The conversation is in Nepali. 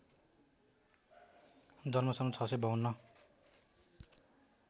जन्म सन् ६५२